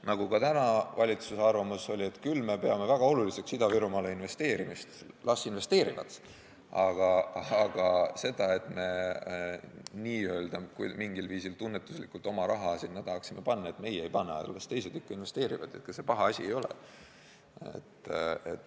Nagu ka nüüd valitsuse arvamus oli, et me peame küll väga oluliseks Ida-Virumaale investeerimist, las investeerivad, aga see ei tähenda, et meie mingil viisil tunnetuslikult oma raha sinna tahaksime panna, meie ei pane, las teised ikka investeerivad, ega see paha asi ei ole.